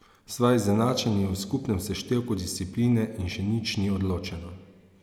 Sva izenačeni v skupnem seštevku discipline in še nič ni odločeno.